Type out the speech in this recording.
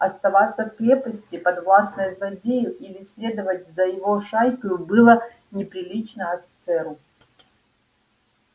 оставаться в крепости подвластной злодею или следовать за его шайкою было неприлично офицеру